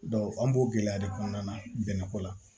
an b'o gɛlɛya de kɔnɔna na bɛnɛ ko la